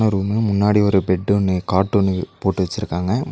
room முன்னாடி ஒரு bed ஒன்னு காட் ஒன்னு போட்டு வெச்சுருக்காங்க முன்--